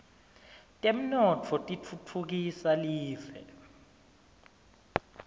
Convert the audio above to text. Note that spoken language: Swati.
temnotfo titfutfukisa live